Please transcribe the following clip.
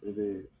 I be